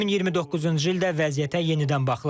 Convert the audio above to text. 2029-cu ildə vəziyyətə yenidən baxılacaq.